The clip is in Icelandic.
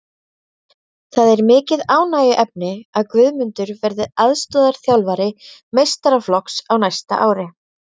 Það er mikið ánægjuefni að Guðmundur verði aðstoðarþjálfari meistaraflokks á næsta ári.